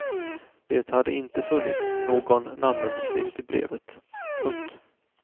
Det hade inte funnits någon namnunderskrift i brevet. punkt